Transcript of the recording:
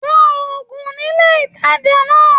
Rá ògùn nílé ìtàjà náà!